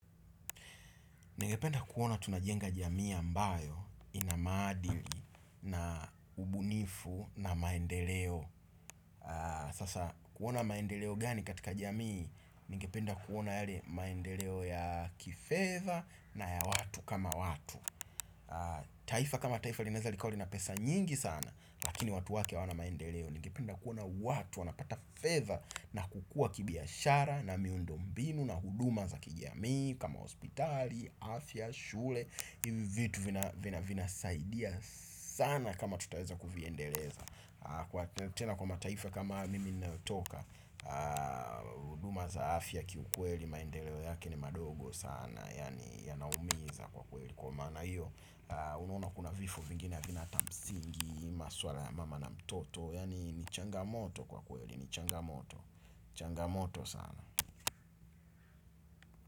Ningependa kuona tunajenga jamii ambayo inamaadili na ubunifu na maendeleo. Sasa kuona maendeleo gani katika jamii. Ningependa kuona yale maendeleo ya kifedha na ya watu kama watu. Taifa kama taifa linaeza likawa lina pesa nyingi sana. Lakini watu wake hawana maendeleo. Ningependa kuona watu wanapata fedha na kukua kibiashara na miundombinu na huduma za kijamii. Kama hospitali, afya, shule. Hivi vitu vina vina saidia sana kama tutaweza Kuviendeleza. Tena kwa mataifa kama mimi ninayotoka huduma za afya. Kiukweli maendeleo yake ni madogo sana. Yani yanaumiza kwa kweli. Kwa maana iyo unuona kuna vifo vingine havina hata msingi. Maswala ya mama na mtoto yani ni changamoto kwa kweli. Ni changamoto. Changamoto sana.